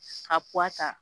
Ka ta